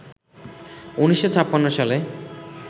১৯৫৬ সালে